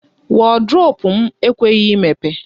Wọdrobụ m ekweghị emepe.